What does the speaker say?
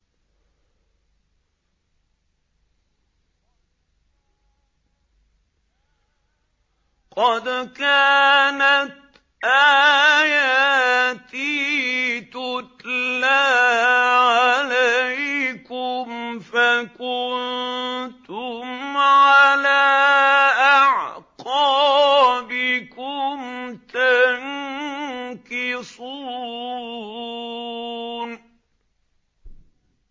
قَدْ كَانَتْ آيَاتِي تُتْلَىٰ عَلَيْكُمْ فَكُنتُمْ عَلَىٰ أَعْقَابِكُمْ تَنكِصُونَ